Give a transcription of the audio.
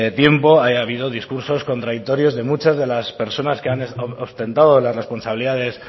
tiempo ahí ha habido discursos contradictorios de muchas de las personas que han ostentado las responsabilidades